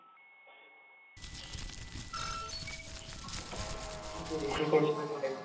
ਰਿਸ਼ੀਕੇਸ ਵੀ try ਕਰ ਸਕਦੇ ਹੋ.